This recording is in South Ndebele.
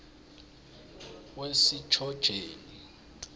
wesitjhotjheni